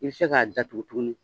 I bi se k'a datugu tuguni.